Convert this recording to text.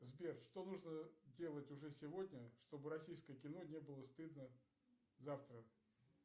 сбер что нужно делать уже сегодня чтобы российское кино не было стыдно завтра